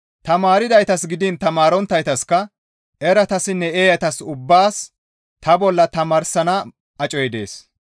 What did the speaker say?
Tamaardaytas gidiin tamaaronttaytaska, eratassinne eeyatas ubbaas ta bolla tamaarsana acoy dees.